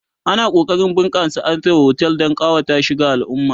ana kokarin a bunƙasa harkan otel Dan kawata shi ga alumma